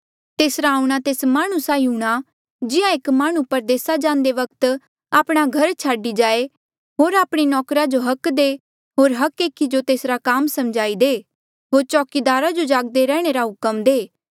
तेसरा आऊंणा तेस माह्णुं साहीं हूंणां जिहां एक माह्णुं परदेसा जांदे वक्त आपणा घर छाडी जाए होर आपणे नौकरा जो हक दे होर हर एकी जो तेसरा काम समझाई दे होर चौकीदारा जो जागदे रैहणे रा हुक्म दे